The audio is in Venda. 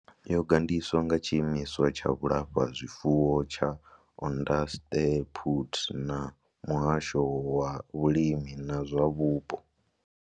Yo gandiswa nga tshiimiswa tsha vhulafhazwifuwo tsha Onderstepoort na muhasho wa vhulimi na zwa vhupo.